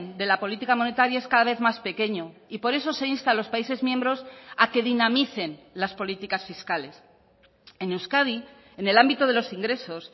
de la política monetaria es cada vez más pequeño y por eso se insta a los países miembros a que dinamicen las políticas fiscales en euskadi en el ámbito de los ingresos